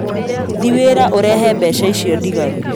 Thi wĩra ũrehe mbeca icio ndigaru